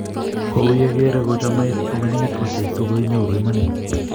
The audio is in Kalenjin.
kouyekere kochomeit komining ochei so kenyoru imaanit